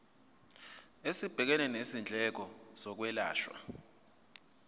esibhekene nezindleko zokwelashwa